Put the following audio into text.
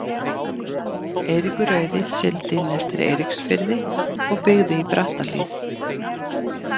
Eiríkur rauði sigldi inn eftir Eiríksfirði og byggði í Brattahlíð.